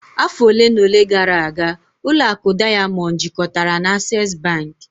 Afọ ole na ole gara aga, ụlọ akụ Diamond jikọtara na Access bank